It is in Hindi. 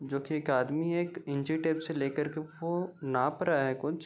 जो की एक आदमी एक इंची टेप से लेकर के वो नाप रहा है कुछ।